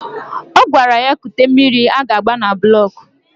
Ọ gwara ya kute mmiri a ga-agba na bụlọk